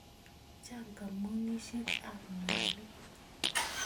Chang' kambunisyek ap mwanik